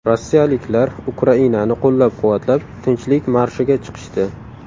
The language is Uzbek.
Rossiyaliklar Ukrainani qo‘llab-quvvatlab, Tinchlik marshiga chiqishdi.